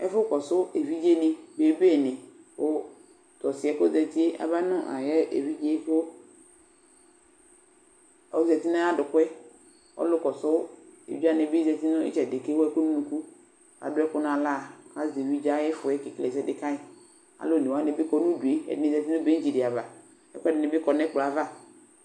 Ɛfʋkɔsʋ evidzenɩ, bebenɩ kʋ tʋ ɔsɩ yɛ kʋ ɔzati yɛ aba nʋ ayʋ evidze yɛ kʋ ɔzati nʋ ayʋ adʋkʋ yɛ Ɔlʋkɔsʋ evidze wanɩ bɩ zati nʋ ɩtsɛdɩ kʋ ewu ɛkʋ nʋ unuku kʋ adʋ ɛkʋ nʋ aɣla kʋ azɛ evidze yɛ ayʋ ɩfɔ yɛ kekele ɛsɛ dɩ ka yɩ Alʋ one wanɩ bɩ kɔ nʋ udu yɛ, ɛdɩnɩ bɩ zati nʋ bɛ̃tsɩ dɩ ava Ɛkʋɛdɩnɩ bɩ kɔ nʋ ɛkplɔ yɛ ava